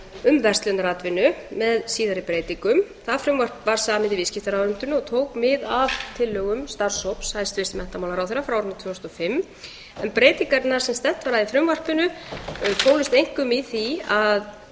um verslunaratvinnu með síðari breytingum það frumvarp var samið í viðskiptaráðuneytinu og tók mið af tillögum starfshóps hæstvirts menntamálaráðherra frá árinu tvö þúsund og fimm breytingarnar sem stefnt var að með frumvarpinu fólust einkum í því að